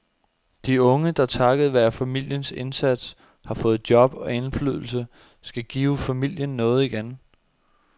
De unge, der takket være familiens indsats har fået job og indflydelse, skal give familien noget igen.